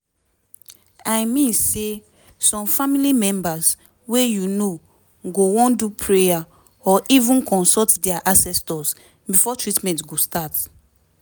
i mean say some family members wey u know go wan do prayer or even consult dia ancestors before treatment go start